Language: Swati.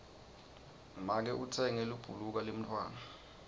make utsenge libhuluka lemntfwana